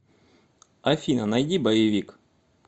афина найди боевик